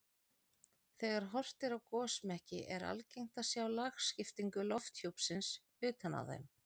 Þegar horft er á gosmekki er algengt að sjá lagskiptingu lofthjúpsins utan á þeim.